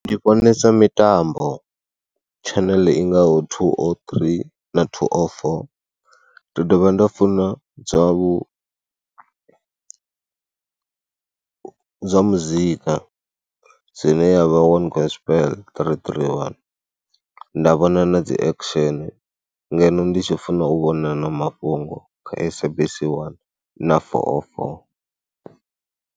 Ndi vhonesa mitambo tshaḽene i ngaho thuu oo ṱhirii na thuu o foo. Ndi dovha nda funa zwa vhu, zwa muzika zwine ya vha wani Gospel ṱiriṱiri wani nda vhona na dziaction ngeno ndi tshi funa u vhona na mafhungo kha SABC 1 na four o four.